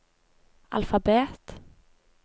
alfabet